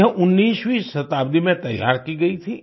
यह 19वीं शताब्दी में तैयार की गई थी